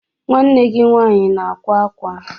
Nwanne gi nwanyi na akwa akwa?